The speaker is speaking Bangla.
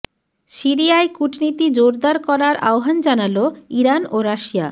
সিরিয়ায় কূটনীতি জোরদার করার আহ্বান জানাল ইরান ও রাশিয়া